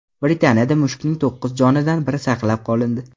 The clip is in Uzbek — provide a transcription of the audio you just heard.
Britaniyada mushukning to‘qqiz jonidan biri saqlab qolindi.